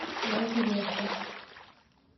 новокузнецком